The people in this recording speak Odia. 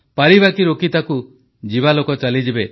ପାରିବାକି ରୋକି ତାକୁ ଯିବା ଲୋକ ତ ଚାଲିଯିବେ